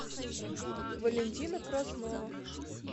валентина краснова